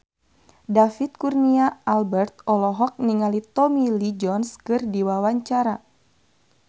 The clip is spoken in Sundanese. David Kurnia Albert olohok ningali Tommy Lee Jones keur diwawancara